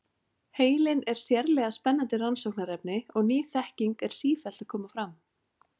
Heilinn er sérlega spennandi rannsóknarefni og ný þekking er sífellt að koma fram.